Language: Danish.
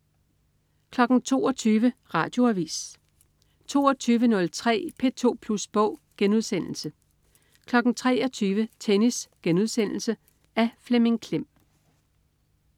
22.00 Radioavis 22.03 P2 Plus Bog* 23.00 Tennis.* Af Flemming Klem